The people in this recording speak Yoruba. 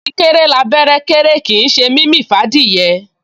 Kíkéré l'abẹ́rẹ́ kéré kìí ṣe mímì f'ádìẹ